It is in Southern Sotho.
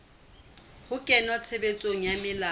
ho kenngwa tshebetsong ha melao